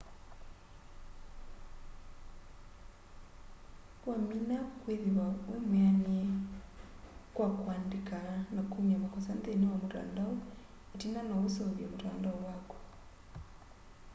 wamina kwithiwa wimwianie kwa kuandika na kumya makosa nthini wa mutandao itina no useuvye mutandao waku